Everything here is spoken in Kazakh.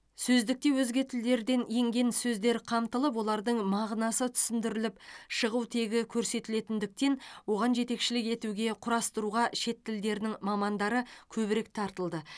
сөздікте өзге тілдерден енген сөздер қамтылып олардың мағынасы түсіндіріліп шығу тегі көрсетілетіндіктен оған жетекшілік етуге құрастыруға шет тілдерінің мамандары көбірек тартылды